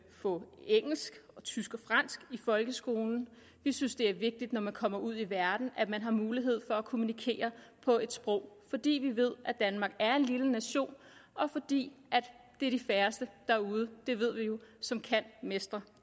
få engelsk tysk og fransk i folkeskolen vi synes det er vigtigt når man kommer ud i verden at man har mulighed for at kommunikere på et sprog fordi vi ved at danmark er en lille nation og fordi det er de færreste derude det ved vi jo som mestrer